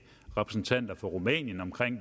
repræsentanter for rumænien om